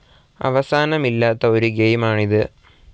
അവസാനമില്ലാത്ത ഒരു ഗെയിമാണ് ഇത്.